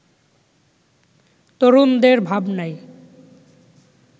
তরুণদের ভাবনায়